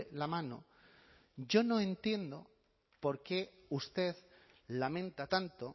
la mano yo no entiendo por qué usted lamenta tanto